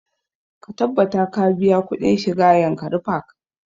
Ka tabbata ka biya kuɗin shiga yankari park!